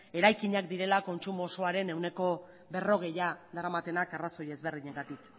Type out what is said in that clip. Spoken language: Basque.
eraikinak direla kontsumo osoaren ehuneko berrogeia daramatenak arrazoi ezberdinetatik